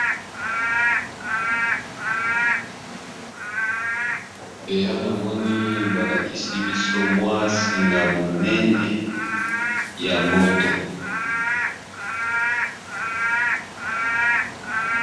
Awa namoni balakisi biso mwa singa munene ya mwinda ya courant